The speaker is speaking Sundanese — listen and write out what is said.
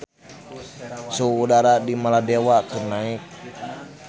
Suhu udara di Maladewa keur naek